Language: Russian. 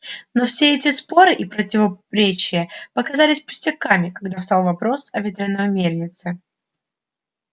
но все эти споры и противоречия показались пустяками когда встал вопрос о ветряной мельнице